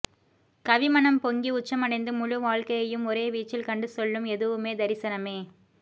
கவிமனம் பொங்கி உச்சமடைந்து முழுவாழ்க்கையையும் ஒரே வீச்சில் கண்டு சொல்லும் எதுவுமே தரிசனமே